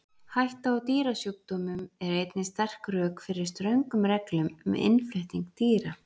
Hætta á dýrasjúkdómum er einnig sterk rök fyrir ströngum reglum um innflutning dýra.